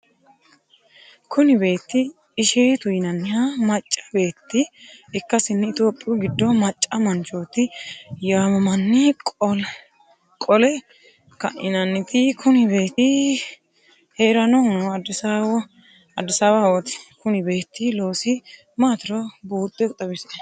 Kuni beetti isheetu yinanniha macca beetti ikkasinni itiyopiyu giddo macca manchooti yaamamnni qole kaeenttini Kuni beetti heerannohuno adisawahooti Konni beetti loosi maatiro buuxxe xawisie?